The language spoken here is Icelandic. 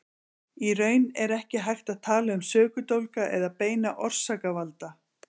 Í raun er ekki hægt að tala um sökudólga eða beina orsakavalda.